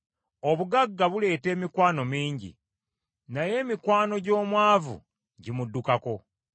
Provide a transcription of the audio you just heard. Obugagga buleeta emikwano mingi, naye emikwano gy’omwavu gimuddukako.